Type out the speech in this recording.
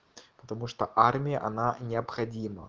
потому что армия она не обходима